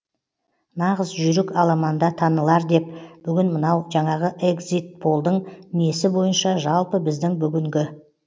нағыз жүйрік аламанда танылар деп бүгін мынау жаңағы эгзит полдың несі бойынша жалпы біздің бүгінгі